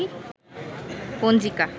পঞ্জিকা